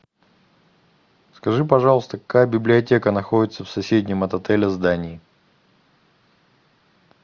скажи пожалуйста какая библиотека находится в соседнем от отеля здании